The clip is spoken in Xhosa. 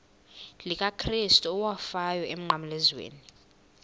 likakrestu owafayo emnqamlezweni